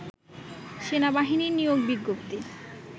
সেনাবাহিনীর নিয়োগ বিজ্ঞপ্তি